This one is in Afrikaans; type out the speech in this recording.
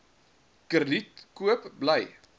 krediet koop bly